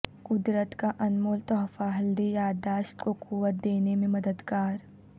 قدرت کا انمول تحفہ ہلدی یادداشت کو قوت دینے میں مددگار